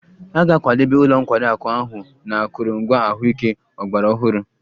A ga-akwadebe ụlọ nkwari akụ ahụ na akụrụngwa ahụike ọgbara ọhụrụ